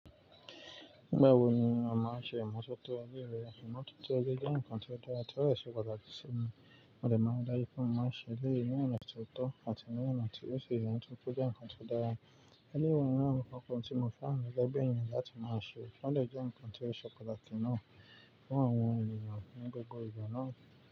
Mgbè wò ni wà má n sé ìmototo ọ̀ní ilẹ̀ wà? Ìmototo jẹ̀ nkàn tí ó dára tí ó dẹ̀ se pataki simi mo de má ṣẹ̀ lẹ́yìn ní ọ̀nà tí ó tọ̀ àti ní ọ̀nà tí ó ṣẹ iyan túkú jẹ̀ nkàn tí ó dára. Èyí wà ní àwọn nkàn kan tí mò fẹ́ ràn legbẹ̀yìn láti má ṣẹ, wọ́n de jẹ́ nkàn tí ó se se kọ̀ náà fún àwọn ènìyàn ní gbogbo ìgbà náà.